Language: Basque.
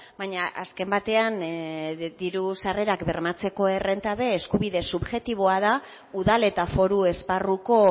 baina azken batean diru sarrerak bermatzeko errenta be eskubide subjektiboa da udal eta foru esparruko